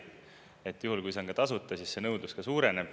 Siis juhul, kui see on tasuta, nõudlus suureneb.